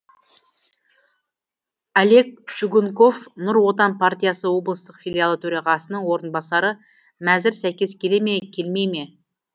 олег чугунков нұр отан партиясы облыстық филиалы төрағасының орынбасары мәзір сәйкес келе ме келмей ме